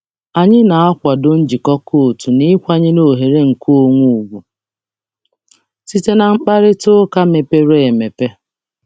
Anyị na-akwado njikọkọ otu na ịkwanyere oghere nkeonwe ugwu site na mkparịta ụka mepere emepe.